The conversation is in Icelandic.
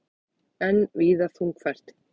Enn víða þungfært